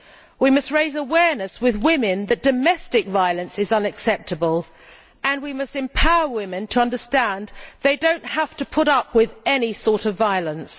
We must raise awareness amongst women that domestic violence is unacceptable, and we must empower women to understand that they do not have to put up with any sort of violence.